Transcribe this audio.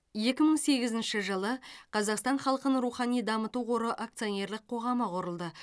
екі мың сегізінші жылы қазақстан халқын рухани дамыту қоры акционерлік қоғамы құрылды